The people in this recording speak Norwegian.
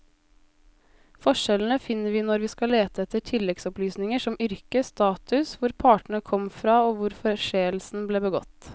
Forskjellene finner vi når vi skal lete etter tilleggsopplysninger som yrke, status, hvor partene kom fra og hvor forseelsen ble begått.